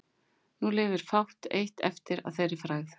Nú lifir fátt eitt eftir að þeirri frægð.